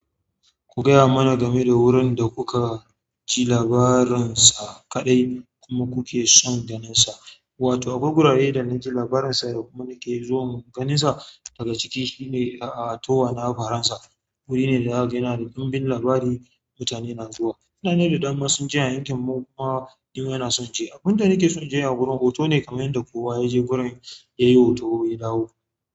Ku gaya mana game da wurin da kuka ji labarinsa kaɗai kuma kuke son ganinsa, wato akwai wurare da na ji labarinsa da kuma nake so in ganinsa daga ciki. Shi ne a a towa na Faransa. Wuri ne da zaka ga yana dumbin labari mutane na zuwa. Mutane da dama sun je a yankin mu kuma nima in so in je. Abun da nake son je a wurin hoto ne kamar yadda kowa ya je wurin ya yi hoto ya dawo.